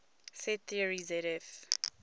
set theory zf